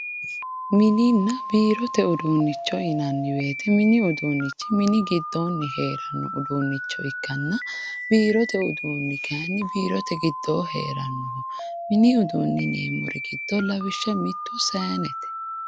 Mininna biirote uduunnicho yinanni woyiite mini uduunnichi mini giddoonni heeranno uduunnicho ikkanna, biirote uduunni kaayiinni biirote giddoo heeranno. Mini uduunni giddo yineemmori lawishsha mittu saayiinete.